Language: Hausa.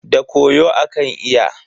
Da koyo akan iya.